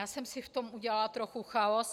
Já jsem si v tom udělala trochu chaos.